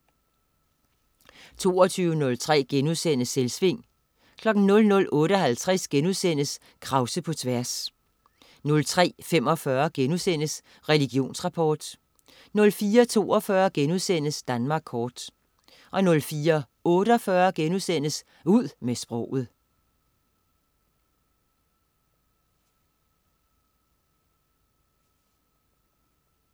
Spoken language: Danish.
22.03 Selvsving* 00.58 Krause på tværs* 03.45 Religionsrapport* 04.42 Danmark kort* 04.48 Ud med sproget*